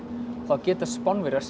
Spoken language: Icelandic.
geta Spánverjar séð